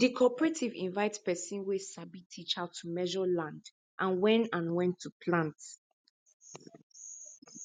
the cooperative invite person wey sabi teach how to measure land and when and when to plant